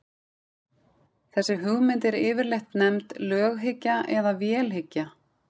Þessi hugmynd er yfirleitt nefnd löghyggja eða vélhyggja.